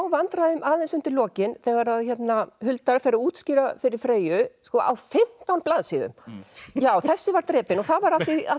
vandræðum aðeins undir lokin þegar Huldar fer að útskýra fyrir Freyju á fimmtán blaðsíðum já þessi var drepinn og það var